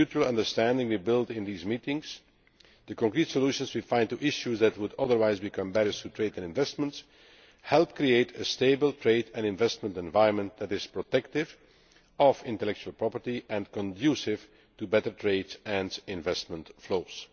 The mutual understanding we build in these meetings, and the concrete solutions we find to issues that would otherwise become barriers to trade and investment, help to create a stable trade and investment environment that is protective of intellectual property and conducive to better trade and investment flows.